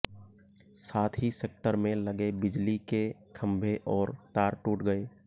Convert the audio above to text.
साथ ही सेक्टर में लगे बिजली के खंभे और तार टूट गए